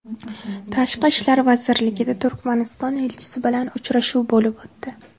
Tashqi ishlar vazirligida Turkmaniston elchisi bilan uchrashuv bo‘lib o‘tdi.